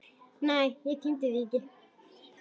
Nei, ég tímdi því ekki!